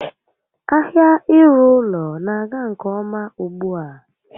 Ahia ịrụ ụlọ n'aga nke ọma ugbu a